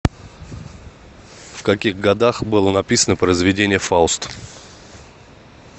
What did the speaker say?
в каких годах было написано произведение фауст